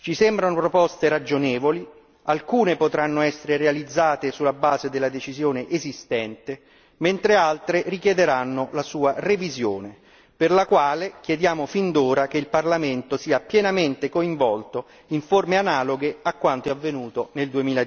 Ci sembrano proposte ragionevoli alcune potranno essere realizzate sulla base della decisione esistente, mentre altre richiederanno la sua revisione, per la quale chiediamo fin d'ora che il Parlamento sia pienamente coinvolto in forme analoghe a quanto avvenuto nel